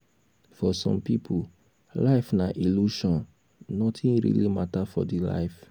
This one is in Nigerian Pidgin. for some pipo life na illusion nothing really matter for di life